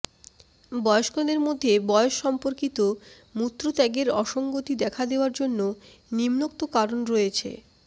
বয়স্কদের মধ্যে বয়স সম্পর্কিত মূত্রত্যাগের অসঙ্গতি দেখা দেওয়ার জন্য নিম্নোক্ত কারণ রয়েছে